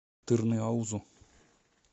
тырныаузу